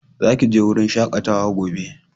Za ki je wurin shakatawa gobe!